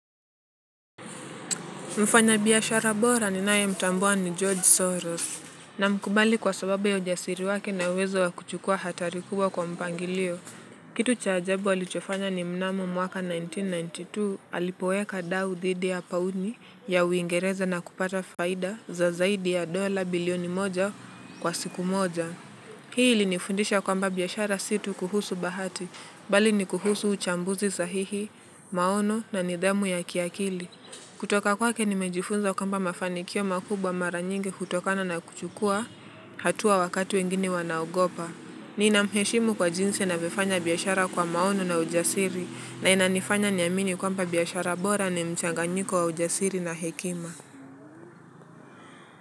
Mfanya biashara bora ninaye mtambua ni George. Soros. Na mkubali kwa sababa ya ujasiri wake na uwezo wakuchukua hatari kubwa kwa mpangilio. Kitu cha ajabu alichofanya ni mnamo mwaka elfu moja na mia tisa na ishirini na tisa alipoweka dau dhidi ya pauni ya uingereza na kupata faida za zaidi ya dola bilioni moja kwa siku moja. Hii ili nifundisha kwamba biashara si tu kuhusu bahati, bali ni kuhusu uchambuzi sahihi, maono na nidhamu ya kiakili. Kutoka kwake nimejifunza kwamba mafanikio makubwa mara nyingi uhtokana na kuchukua hatua wakati wengine wanaogopa. Ninamheshimu kwa jinsi anavyofanya biashara kwa maono na ujasiri na inanifanya niamini kwamba biashara bora ni mchanganyiko wa ujasiri na hekima.